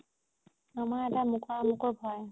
মই এটা ভয়